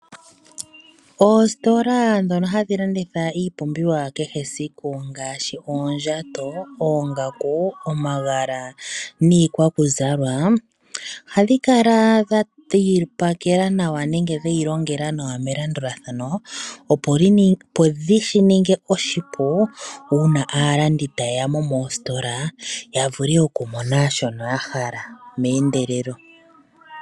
Oositola ndhono hadhi landitha iipumbiwa yakehe esiku ngaashi:oondjato, oongaku ,omagala niikwakuzalwa ,ohadhi kala dheyi pakela nawa nenge dheyi longela nawa melandulathana opo dhi shi ninge oshipu uuna aalandi taye ya mo moositola yavule oku mona shono ya hala meendelelo.